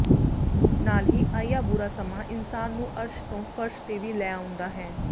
ਨਾਲ ਹੀ ਆਇਆ ਬੁਰਾ ਸਮਾਂ ਇਨਸਾਨ ਨੂੰ ਅਰਸ਼ ਤੋਂ ਫ਼ਰਸ਼ ਤੇ ਵੀ ਲੈ ਆਉਂਦਾ ਹੈ